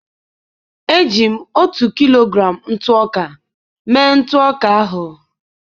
eji m otu kilogram ntụ ọka mee ntụ ọka ahụ.